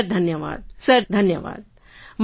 sir ધન્યવાદ sir ધન્યવાદ